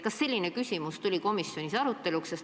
Kas selline küsimus tuli komisjonis arutelule?